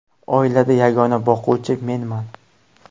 Oilada yagona boquvchi menman.